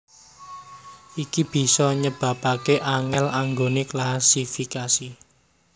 Iki bisa nyebabaké angèl anggoné klasifikasi